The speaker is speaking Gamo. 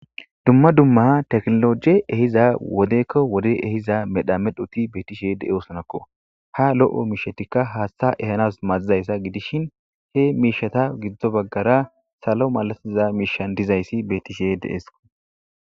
Dumma dumma teknologie ehiza wodekko wode ehiza medha medhuti betishy de7eosonakko ha lo7o miishetikka haashtha ehanas maazizayssa gidishin he miishata giddo baggara salo malatiza miishan dizayssi betise de'eskko.